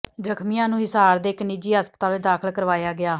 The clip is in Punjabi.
ਜ਼ਖਮੀਆਂ ਨੂੰ ਹਿਸਾਰ ਦੇ ਇੱਕ ਨਿੱਜੀ ਹਸਪਤਾਲ ਵਿੱਚ ਦਾਖਲ ਕਰਵਾਇਆ ਗਿਆ